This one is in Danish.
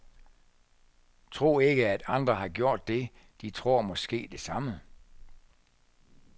Tro ikke at andre har gjort det, de tror måske det samme.